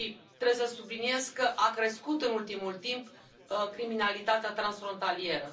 Trebuie să subliniez că a crescut, în ultimul timp, criminalitatea transfrontalieră.